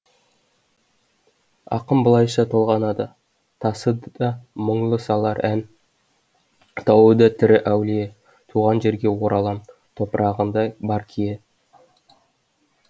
ақын былайша толғанады тасы да мұңлы салар ән тауы да тірі әулие туған жерге оралам топырағында бар кие